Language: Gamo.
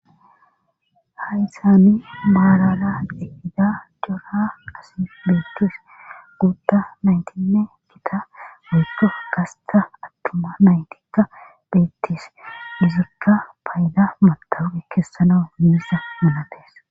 Hay saani maarara ehida jora asi beetis guutda naytinne gita heekko gasta attuma naytikka beettis dusirka payda matawri keessana himisa manatees.